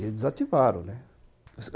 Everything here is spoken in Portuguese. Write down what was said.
E eles desativaram, né.